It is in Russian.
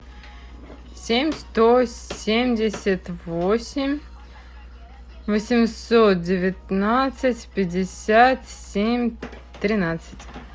семь сто семьдесят восемь восемьсот девятнадцать пятьдесят семь тринадцать